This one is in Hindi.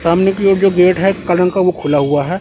सामने की ओर जो गेट है काला रंग का वो खुला हुआ है।